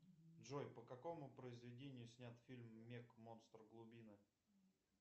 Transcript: джой по какому произведению снят фильм мег монстр глубины